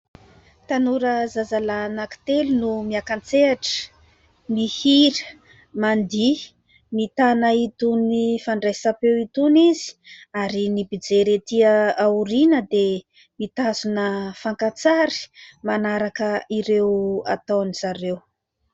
Tanora zazalahy anankitelo no miaka-tsehatra. Mihira, mandihy mitana itony fandraisam-peo itony izy. Ary ny mpijery ety aoriana dia mitazona fakan-tsary manaraka ireo ataon'izareo.